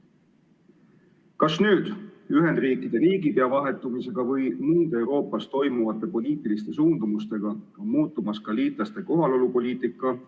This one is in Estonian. Kas Ühendriikide riigipea vahetumise ja Euroopas aset leidvate poliitiliste suundumustega on muutumas ka liitlaste kohalolupoliitika?